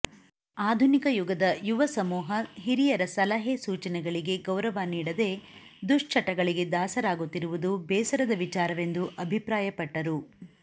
ಆಧುನಿಕ ಯುಗದ ಯುವ ಸಮೂಹ ಹಿರಿಯರ ಸಲಹೆ ಸೂಚನೆಗಳಿಗೆ ಗೌರವ ನೀಡದೆ ದುಶ್ಚಟಗಳಿಗೆ ದಾಸರಾಗುತ್ತಿರುವುದು ಬೇಸರದ ವಿಚಾರವೆಂದು ಅಭಿಪ್ರಾಯಪಟ್ಟರು